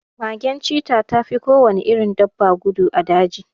Magen cita tafi kowane irin dabba gudu a daji